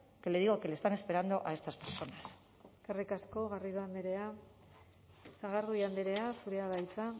que le digo que le están esperando a estas personas eskerrik asko garrido andrea sagardui andrea zurea da hitza